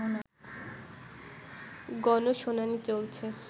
গণশুনানি চলছে